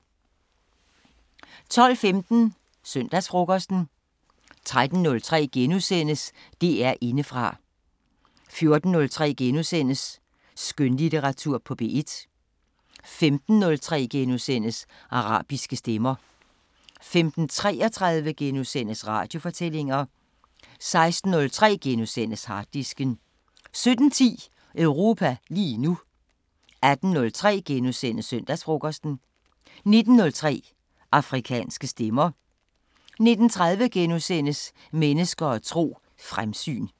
12:15: Søndagsfrokosten 13:03: DR Indefra * 14:03: Skønlitteratur på P1 * 15:03: Arabiske Stemmer * 15:33: Radiofortællinger * 16:03: Harddisken * 17:10: Europa lige nu 18:03: Søndagsfrokosten * 19:03: Afrikanske Stemmer 19:30: Mennesker og tro: Fremsyn *